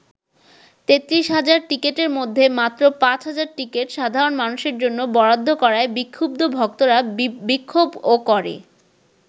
৩৩ হাজার টিকিটের মধ্যে মাত্র ৫ হাজার টিকিট সাধারণ মানুষের জন্য বরাদ্দ করায় বিক্ষুব্ধ ভক্তরা বিক্ষোভও করে।